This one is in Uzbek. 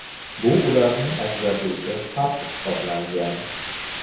Bu ularning ajratuvchi farqi hisoblangan.